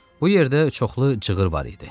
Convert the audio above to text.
Bu yerdə çoxlu cığır var idi.